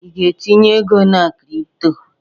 I ga-entinye ego na kripto?